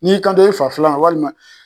N'i y'i kanto i fa filanma walima